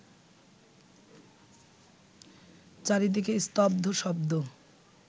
চারিদিকে স্তব্ধ শব্দ